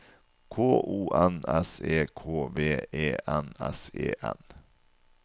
K O N S E K V E N S E N